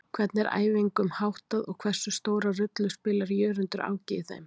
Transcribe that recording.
Hvernig er æfingum háttað og hversu stóra rullu spilar Jörundur Áki í þeim?